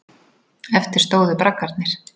Eftir stóðu braggarnir.